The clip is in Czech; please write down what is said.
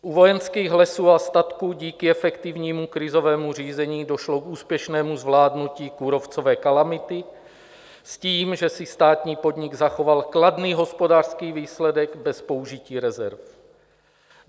U Vojenských lesů a statků díky efektivnímu krizovému řízení došlo k úspěšnému zvládnutí kůrovcové kalamity s tím, že si státní podnik zachoval kladný hospodářský výsledek bez použití rezerv.